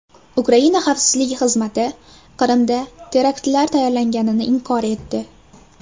Ukraina xavfsizlik xizmati Qrimda teraktlar tayyorlanganini inkor etdi.